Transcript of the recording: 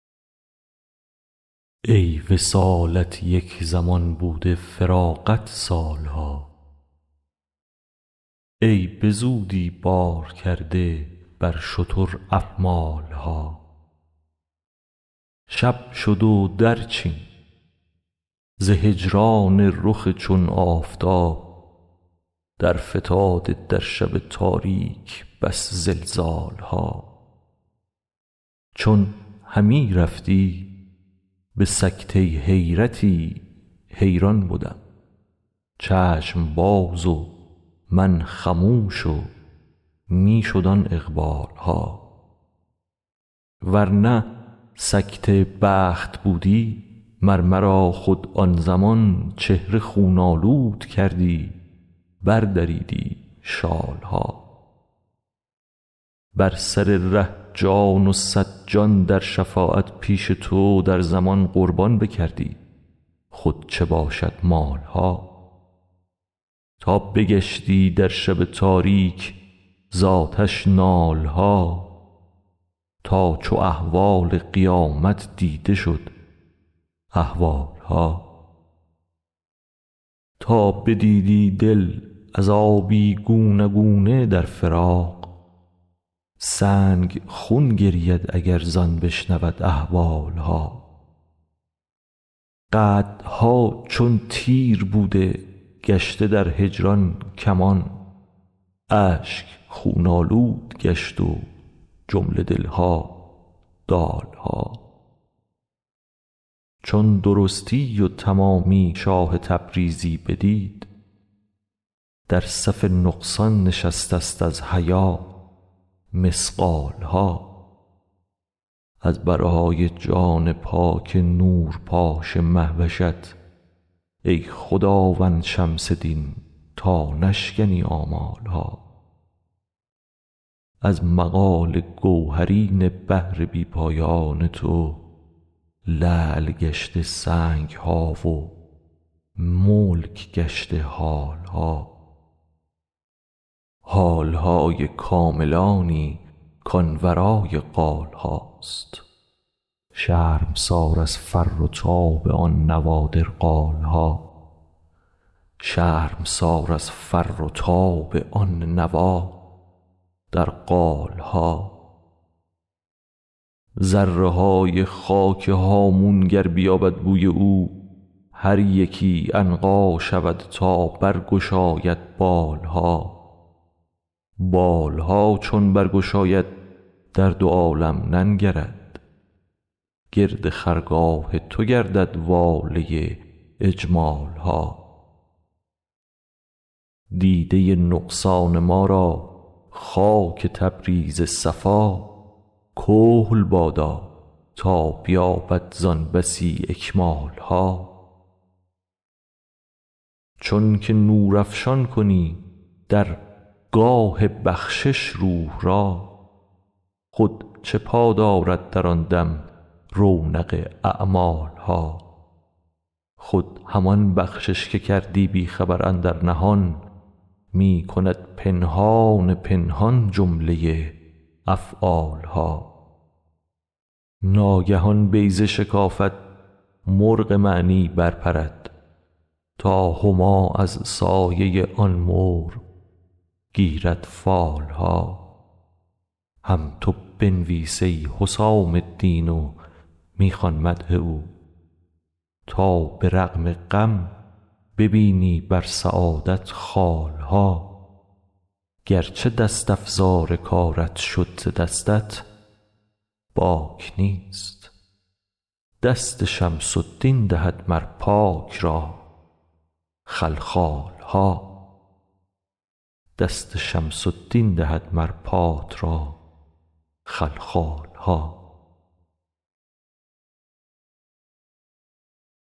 ای وصالت یک زمان بوده فراقت سال ها ای به زودی بار کرده بر شتر احمال ها شب شد و درچین ز هجران رخ چون آفتاب درفتاده در شب تاریک بس زلزال ها چون همی رفتی به سکته حیرتی حیران بدم چشم باز و من خموش و می شد آن اقبال ها ور نه سکته بخت بودی مر مرا خود آن زمان چهره خون آلود کردی بردریدی شال ها بر سر ره جان و صد جان در شفاعت پیش تو در زمان قربان بکردی خود چه باشد مال ها تا بگشتی در شب تاریک ز آتش نال ها تا چو احوال قیامت دیده شد اهوال ها تا بدیدی دل عذابی گونه گونه در فراق سنگ خون گرید اگر زان بشنود احوال ها قدها چون تیر بوده گشته در هجران کمان اشک خون آلود گشت و جمله دل ها دال ها چون درستی و تمامی شاه تبریزی بدید در صف نقصان نشست است از حیا مثقال ها از برای جان پاک نورپاش مه وشت ای خداوند شمس دین تا نشکنی آمال ها از مقال گوهرین بحر بی پایان تو لعل گشته سنگ ها و ملک گشته حال ها حال های کاملانی کان ورای قال هاست شرمسار از فر و تاب آن نوادر قال ها ذره های خاک هامون گر بیابد بوی او هر یکی عنقا شود تا برگشاید بال ها بال ها چون برگشاید در دو عالم ننگرد گرد خرگاه تو گردد واله اجمال ها دیده نقصان ما را خاک تبریز صفا کحل بادا تا بیابد زان بسی اکمال ها چونک نورافشان کنی در گاه بخشش روح را خود چه پا دارد در آن دم رونق اعمال ها خود همان بخشش که کردی بی خبر اندر نهان می کند پنهان پنهان جمله افعال ها ناگهان بیضه شکافد مرغ معنی برپرد تا هما از سایه آن مرغ گیرد فال ها هم تو بنویس ای حسام الدین و می خوان مدح او تا به رغم غم ببینی بر سعادت خال ها گرچه دست افزار کارت شد ز دستت باک نیست دست شمس الدین دهد مر پات را خلخال ها